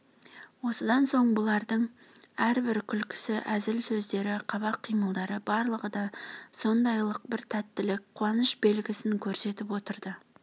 осыдан соң бұлардың әрбір күлкісі әзіл сөздері қабақ қимылдары барлығы да сондайлық бір тәттілік қуаныш белгісін көрсетіп отырды